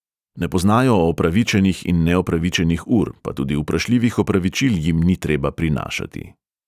Ne poznajo opravičenih in neopravičenih ur, pa tudi vprašljivih opravičil jim ni treba prinašati.